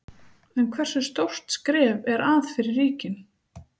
En hversu stórt skref er að fyrir ríkin?